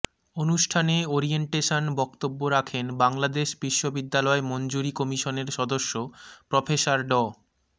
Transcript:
অনুষ্ঠানে ওরিয়েন্টেশন বক্তব্য রাখেন বাংলাদেশ বিশ্ববিদ্যালয় মঞ্জুরী কমিশনের সদস্য প্রফেসর ড